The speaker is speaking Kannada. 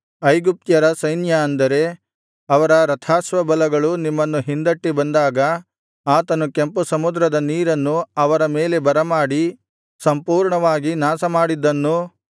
ಐಗುಪ್ತ್ಯರ ಸೈನ್ಯ ಅಂದರೆ ಅವರ ರಥಾಶ್ವಬಲಗಳು ನಿಮ್ಮನ್ನು ಹಿಂದಟ್ಟಿ ಬಂದಾಗ ಆತನು ಕೆಂಪು ಸಮುದ್ರದ ನೀರನ್ನು ಅವರ ಮೇಲೆ ಬರಮಾಡಿ ಸಂಪೂರ್ಣವಾಗಿ ನಾಶಮಾಡಿದ್ದನ್ನೂ